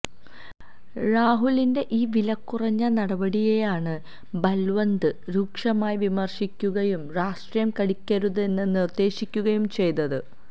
രാഹുലിന്റെ ഈ വില കുറഞ്ഞ നടപടിയെയാണ് ബല്വന്ത് രൂക്ഷമായി വിമര്ശിക്കുകയും രാഷ്ട്രീയ കളിക്കരുതെന്ന് നിര്ദേശിക്കുകയും ചെയ്തത്